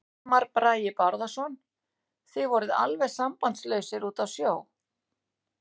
Hilmar Bragi Bárðarson: Þið voruð alveg sambandslausir úti á sjó?